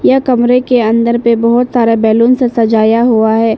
यह कमरे के अंदर पे बहुत सारा बैलून से सजाया हुआ है।